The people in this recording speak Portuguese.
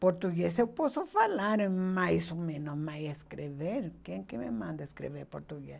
Português eu posso falar mais ou menos, mas escrever, quem me manda escrever português?